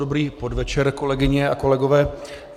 Dobrý podvečer, kolegyně a kolegové.